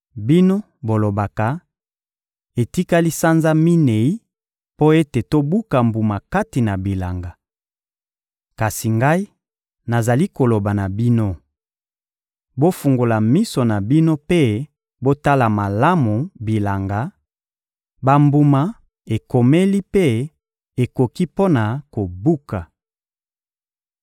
Bino bolobaka: «Etikali sanza minei mpo ete tobuka mbuma kati na bilanga.» Kasi Ngai, nazali koloba na bino: bofungola miso na bino mpe botala malamu bilanga; bambuma ekomeli mpe ekoki mpo na kobuka.